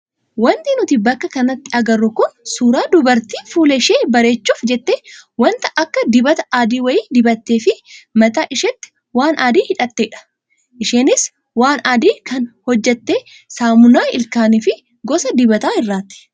Wanti nuti bakka kanatti agarru kun suuraa dubartii fuula ishee bareechuuf jettee wanta akka dibataa adii wayii dibattee fi mataa isheetti waan adii hidhattedha. Isheenis waan adii kana kan hojjatte saamunaa ilkaanii fi gosa dibataa irraati.